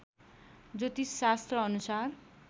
ज्योतिष शास्त्र अनुसार